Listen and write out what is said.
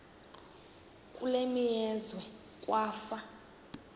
kule meazwe kwafa